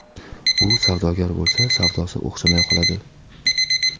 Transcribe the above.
U savdogar bo‘lsa savdosi o‘xshamay qoladi.